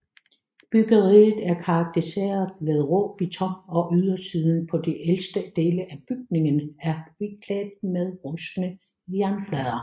Byggeriet er karakteriseret ved rå beton og ydersiden på de ældste dele af bygningen er beklædt med rustne jernplader